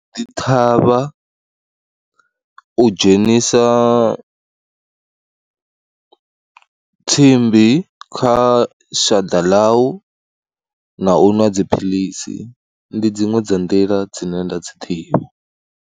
Dzi ṱhavha, u dzhenisa tsimbi kha shaḓa ḽau na u ṅwa dziphilisi, ndi dziṅwe dza nḓila dzine nda dzi ḓivha.